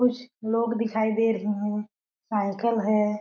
कुछ लोग दिखाई दे रहे है साइकिल है।